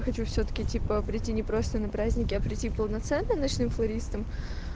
хочу всё-таки типа прийти не просто на праздники а прийти полноценно ночным флористом